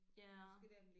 Ja